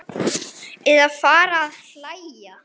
Eða fara að hlæja.